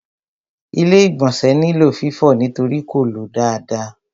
Ilé-ìgbọ̀nsẹ̀ nílò fífọ̀ nítorí kò ló dáadáa.